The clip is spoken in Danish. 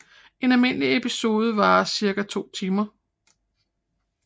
En almindelig episode varer cirka 2 timer